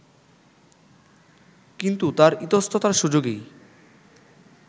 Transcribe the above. কিন্তু তার ইতস্ততার সুযোগেই